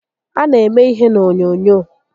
A na eme ihe n'onyoonyoo